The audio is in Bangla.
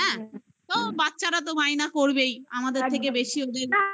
হ্যাঁ তো বাচ্চারা তো বায়না করবেই. আমাদের থেকে বেশি অব্দি